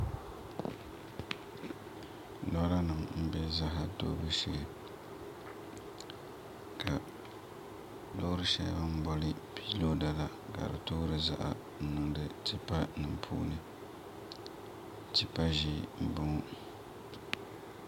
Lora nim n bɛ ziɣa toobu shee ka loori shɛli bi ni boli piiroda la ka di toori ziɣa n niŋdi tipa nim puuni tipa ʒiɛ n boŋo